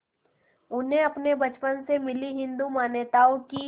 उन्हें अपने बचपन में मिली हिंदू मान्यताओं की